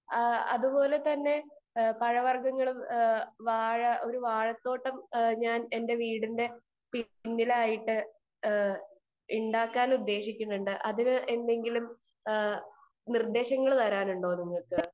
speaker 2 അതുപോലെ തന്നെ പഴവര്ഗങ്ങളും ഒരു വാഴതോട്ടം ഞാൻ എന്റെ വീടിന്റെ പിന്നിലായിട്ട് ഉണ്ടാക്കാൻ ഉദ്ദേശിക്കുന്നുണ്ട് അതിനു എന്തെങ്കിലും നിർദേശങ്ങൾ തരാനുണ്ടോ നിങ്ങൾക്ക്